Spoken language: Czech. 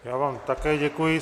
Já vám také děkuji.